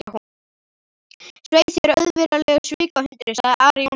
Svei þér auðvirðilegur svikahundurinn, sagði Ari Jónsson.